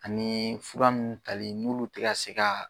Anii fura nun talen n'ulu te ka se kaa